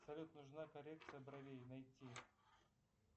салют нужна коррекция бровей найти